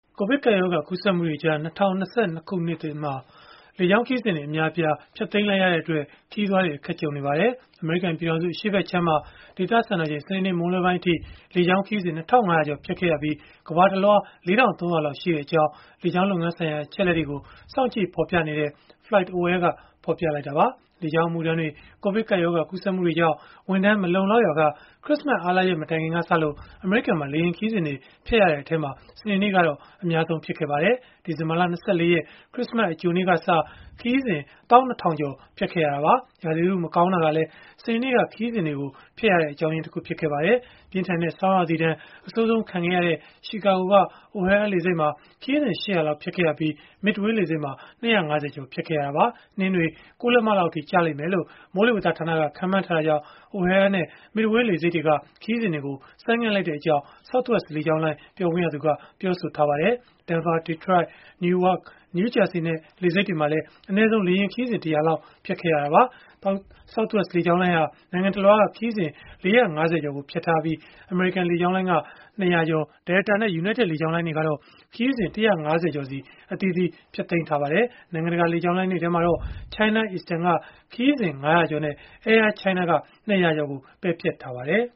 ကိုဗစ်ကပ်ရောဂါ ကူးစက်မှုတွေကြား ၂၀၂၂ ခု နှစ်သစ်အစမှာ လေကြောင်းခရီးစဉ်တွေ အများအပြား ဖျက်သိမ်းလိုက်ရတဲ့အတွက် ခရီးသွားတွေ အခက်ကြုံနေကြရပါတယ်။ အမေရိကန်ပြည်ထောင်စု အရှေ့ဘက်ခြမ်းမှာ ဒေသစံတော်ချိန် စနေနေ့ မွန်းလွဲပိုင်းအထိ လေကြောင်းခရီးစဉ် ၂,၅၀၀ ကျော် ဖျက်ခဲ့ရပြီး ကမ္ဘာတလွှား ၄,၃၀၀ လောက် ရှိခဲ့ကြောင်း လေကြောင်းလုပ်ငန်းဆိုင်ရာ အချက်အလက်တွေကို စောင့်ကြည့် ဖော်ပြနေတဲ့ FlightAware က ဖော်ပြခဲ့တာပါ။ လေကြောင်းအမှုထမ်းတွေ ကိုဗစ်ရောဂါ ကူးစက်မှုတွေကြောင့် ဝန်ထမ်းမလုံလောက်ရာက ခရစ္စမတ် အားလပ်ရက် မတိုင်ခင်ကစလို့ အမေရိကန်မှာ လေယာဉ်ခရီးစဉ်တွေ ဖျက်ခဲ့ရတဲ့အထဲမှာ စနေနေ့က အများဆုံးလည်း ဖြစ်ခဲ့ပါတယ်။ ဒီဇင်ဘာလ ၂၄ ရက် ခရစ္စမတ်အကြိုနေ့ကစ ခရီးစဉ် ၁၂,၀၀၀ ကျော် ဖျက်ခဲ့ရတာပါ။ ရာသီဥတု မကောင်းတာကလည်း စနေနေ့က ခရီးစဉ်တွေ ဖျက်ရတဲ့ အကြောင်းရင်းတခု ဖြစ်ပါတယ်။ ပြင်းထန်တဲ့ ဆောင်းရာသီဒဏ် အဆိုးဆုံးခံခဲ့ရတဲ့ ရှီကာဂိုက O'Hare လေဆိပ်မှာ ခရီးစဉ် ၈၀၀ လောက် ဖျက်ခဲ့ရပြီး Midway လေဆိပ်မှာ ၂၅၀ ကျော် ဖျက်ခဲ့ရတာပါ။ နှင်းတွေ ၉ လက္မလောက်အထိ ကျလိမ့်မယ်လို့လည်း မိုးလေဝသဌာနက ခန့်မှန်းထားတာကြောင့် O'Hare နဲ့ Midway လေဆိပ်တွေက ခရီးစဉ်တွေကို ဆိုင်းငံ့လိုက်ကြောင်း Southwest လေကြောင်းလိုင်း ပြောခွင့်ရသူက ပြောဆိုထားပါတယ်။ Denver, Detroit, Newark နဲ့ New Jersey လေဆိပ်တွေမှာလည်း အနည်းဆုံး လေယာဉ်ခရီးစဉ် ၁၀၀ လောက်စီ ဖျက်ခဲ့ရတာပါ။ Southwest လေကြောင်းလိုင်းဟာ နိုင်ငံတလွှားက ခရီးစဉ် ၄၅၀ ကျော် ဖျက်ထားပြီး American လေကြောင်းလိုင်းက ၂၀၀ ကျော်၊ Delta နဲ့ United လေကြောင်းလိုင်းတွေကတော့ ခရီးစဉ် ၁၅၀ ကျော်စီ အသီးသီး ဖျက်သိမ်းထားကြပါတယ်။ နိုင်ငံတကာ လေကြောင်းလိုင်းတွေထဲမှာတော့ China Eastern က ခရီးစဉ် ၅၀၀ ကျော်နဲ့ Air China က ၂၀၀ ကျော် ပယ်ဖျက်ထားပါတယ်